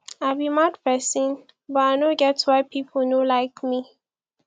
i be mad person but i no get why people no like me